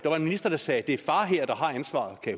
minister der sagde det er far her der har ansvaret kan